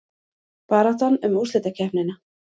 Baráttan um úrslitakeppnina